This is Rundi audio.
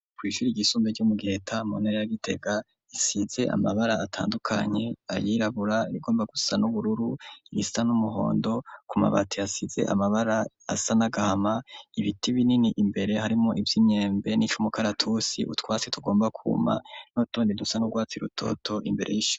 Kw'shure ryisumbuye ryo mu giheta mu ntara ya gitega risize amabara atandukanye, ayirabura nay'agomba gusa n'ubururu, ibisa n'umuhondo ku mabati hasize amabara asa nagahama, ibiti binini imbere harimo ivy'imyembe n'icumukaratusi utwasi tugomba kwuma n'utundi dusa nurwatsi rutoto imbere y'ishure.